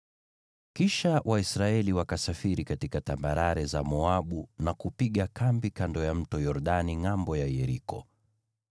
Kisha Waisraeli wakasafiri katika tambarare za Moabu na kupiga kambi kando ya Mto Yordani, ngʼambo ya Yeriko.